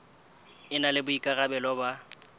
e na le boikarabelo ba